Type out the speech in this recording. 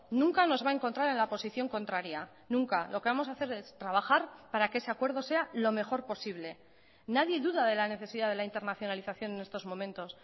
nunca nos va a encontrar en la posición contraria nunca lo que vamos a hacer es trabajar para que ese acuerdo sea lo mejor posible nadie duda de la necesidad de la internacionalización en estos momentos